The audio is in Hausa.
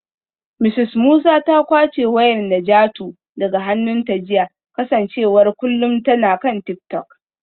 Mrs Musa ta kwace wayar Najatu daga hannunta jiya kasancewar kullum tana kan tik-tok.